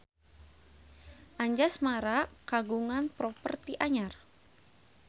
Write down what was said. Anjasmara kagungan properti anyar